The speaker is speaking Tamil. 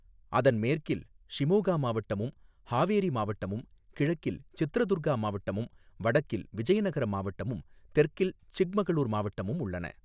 அதன் மேற்கில் ஷிமோகா மாவட்டமும் ஹாவேரி மாவட்டமும், கிழக்கில் சித்ரதுர்கா மாவட்டமும், வடக்கில் விஜயநகர மாவட்டமும், தெற்கில் சிக்மகளூர் மாவட்டமும் உள்ளன.